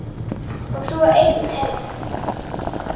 Og svo einn enn.